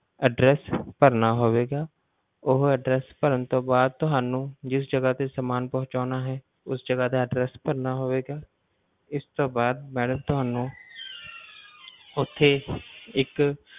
Address ਭਰਨਾ ਹੋਵੇਗਾ, ਉਹ address ਭਰਨ ਤੋਂ ਬਾਅਦ ਤੁਹਾਨੂੰ ਜਿਸ ਜਗਾ ਤੇ ਸਮਾਨ ਪਹੁੰਚਾਉਣਾ ਹੈ, ਉਸ ਜਗਾ ਦਾ address ਭਰਨਾ ਹੋਵੇਗਾ, ਇਸਤੋਂ ਬਾਅਦ madam ਤੁਹਾਨੂੰ ਉੱਥੇ ਇੱਕ